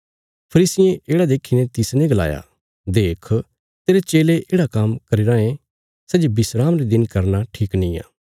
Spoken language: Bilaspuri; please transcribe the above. फरीसिये येढ़ा देखीने तिसने गलाया देख तेरे चेले येढ़ा काम्म करी रायें सै जे विस्राम रे दिन करना ठीक निआं